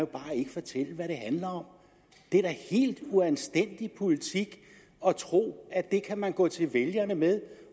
bare ikke fortælle hvad den handler om det er da helt uanstændig politik at tro at det kan man gå til vælgerne med